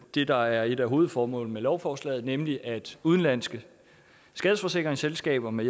det der er et af hovedformålene med lovforslaget nemlig at udenlandske skadesforsikringsselskaber med